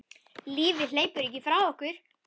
Lífið hleypur ekki frá okkur.